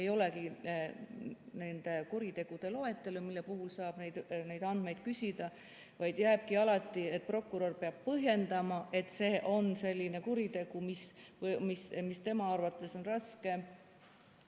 Ei olegi nende kuritegude loetelu, mille puhul saab neid andmeid küsida, vaid jääbki nii, et prokurör peab põhjendama, et see on selline kuritegu, mis tema arvates on raske.